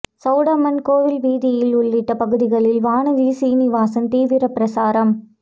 சவுடம்மன் கோவில் வீதி உள்ளிட்ட பகுதிகளில் வானதி சீனிவாசன் தீவிர பிரசாரம்